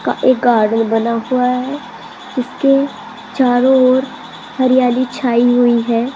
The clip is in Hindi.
का एक गार्डन बना हुआ है उसके चारों ओर हरियाली छाई हुई है।